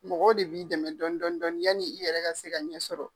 Mɔgɔw de b'i dɛmɛ dɔɔni dɔɔni dɔɔni yani i yɛrɛ ka se ka ɲɛ sɔrɔ.